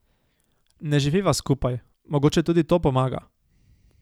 Ne živiva skupaj, mogoče tudi to pomaga.